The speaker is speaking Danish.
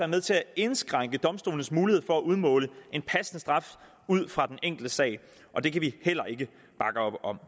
med til at indskrænke domstolenes mulighed for at udmåle en passende straf ud fra den enkelte sag og det kan vi heller ikke bakke op om